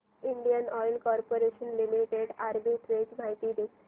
Indian oil corporation limited arbitrage माहिती दे